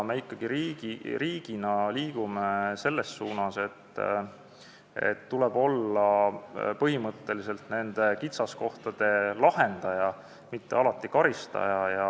Me riigina liigume selles suunas, et põhimõtteliselt tuleb olla kitsaskohtade kõrvaldaja, mitte alati karistaja.